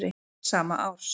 sama árs.